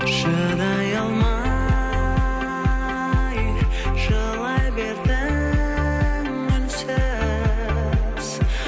шыдай алмай жылай бердің үнсіз